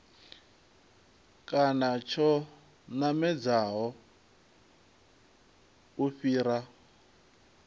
kana tsho namedzaho u fhira